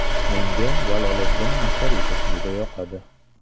Menga Jaloliddin Masharipov juda yoqadi.